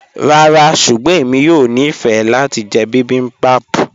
Ràrá ṣùgbọ́n ẹ̀mi yóò ní fẹ́ lati jẹ̀ bibimbap